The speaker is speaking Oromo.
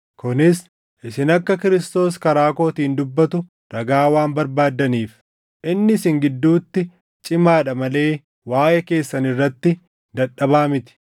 kunis isin akka Kiristoos karaa kootiin dubbatu ragaa waan barbaaddaniif. Inni isin gidduutti cimaadha malee waaʼee keessan irratti dadhabaa miti.